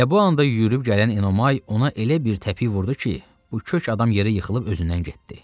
Elə bu anda yürüyüb gələn Enomay ona elə bir təpik vurdu ki, bu kök adam yerə yıxılıb özündən getdi.